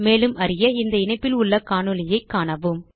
மேலும் அறிய இந்த இணைப்பில் உள்ள காணொளியைக் காணவும்